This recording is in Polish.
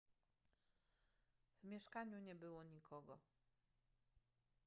w mieszkaniu nie było nikogo